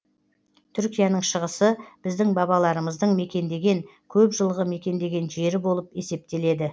түркияның шығысы біздің бабаларымыздың мекендеген көп жылғы мекендеген жері болып есептеледі